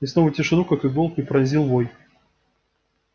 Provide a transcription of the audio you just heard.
и снова тишину как иголкой пронзил вой